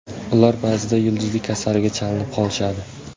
Ular ba’zida yulduzlik kasaliga chalinib qolishadi.